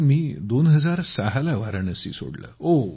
sir मी 2006 ला वाराणसी सोडले